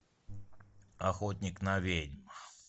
охотник на ведьм